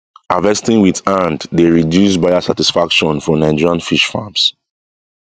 harvesting with hand dey reduce buyer satisfaction for nigerian fish farms